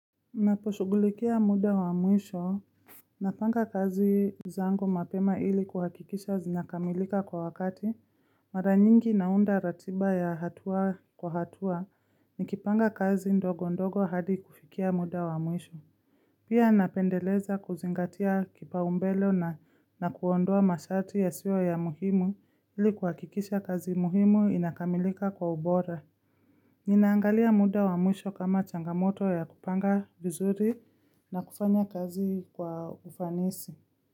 Naposhughulikia muda wa mwisho, napanga kazi zangu mapema ili kuhakikisha zinakamilika kwa wakati, mara nyingi naunda ratiba ya hatua kwa hatua, nikipanga kazi ndogo ndogo hadi kufikia muda wa mwisho Pia napendeleza kuzingatia kipa umbelo na na kuondoa masharti yasiyo ya muhimu, ili kuhakikisha kazi muhimu inakamilika kwa ubora. Ninaangalia muda wa mwisho kama changamoto ya kupanga vizuri, na kufanya kazi kwa ufanisi.